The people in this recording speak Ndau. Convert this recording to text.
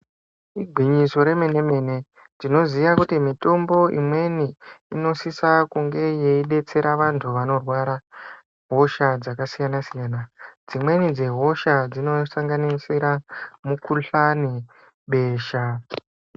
Igwinyiso remene-mene, tinoziya kuti mitombo imweni, inosisa kunge yeidetsera vantu vanorwara hosha dzakasiyana-siyana. Dzimweni dzehosha dzinosanganisira mikhuhlani , besha.